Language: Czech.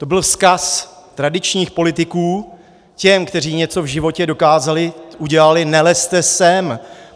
To byl vzkaz tradičních politiků těm, kteří něco v životě dokázali, udělali: Nelezte sem!